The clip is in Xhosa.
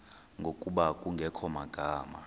ngokuba kungekho magama